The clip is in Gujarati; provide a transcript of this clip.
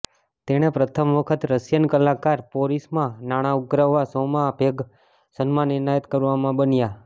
તેણે પ્રથમ વખત રશિયન કલાકાર પોરિસ માં નાણાં ઉધરાવવા શોમાં ભાગ સન્માન એનાયત કરવામાં બન્યાં